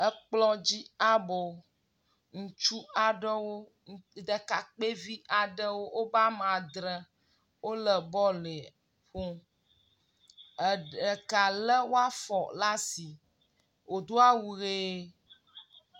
Ekplɔ dzi abo. Ŋutsu aɖewo ɖekakpɛvi aɖewo woba ame adre. Wole bɔlu ƒom. Ɖeka lé woafɔ ɖe asi. Wòdo awu ʋie